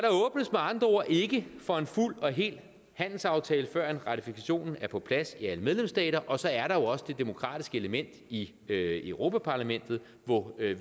andre ord ikke for en fuld og hel handelsaftale før ratifikationen er på plads i alle medlemsstater og så er der jo også det demokratiske element i europa parlamentet hvor vi